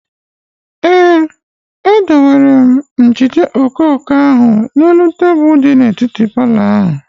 Ee, e dowere m flawa vees ahụ n'elu tebụl di n'etiti palọ ahụ